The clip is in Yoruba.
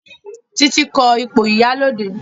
Titi ko ipo ìyálóde